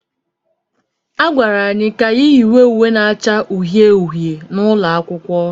A gwara anyị ka anyị yiwe uwe na-acha uhie uhie n'ụlọ akwụkwọ.